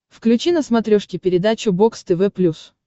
включи на смотрешке передачу бокс тв плюс